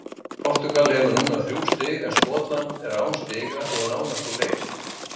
Portúgal hefur núna þrjú stig, en Skotland er án stiga og nánast úr leik.